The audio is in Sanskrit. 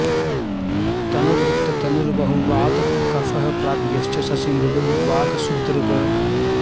तनु वृत्त तनुर्बहु वात कफः प्राज्ञश्च शशी मृदु वाक् शुभदृक्